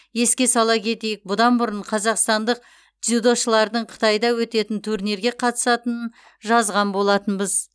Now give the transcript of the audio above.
еске сала кетейік бұдан бұрын қазақстандық дзюдошылардың қытайда өтетін турнирге қатысатынын жазған болатынбыз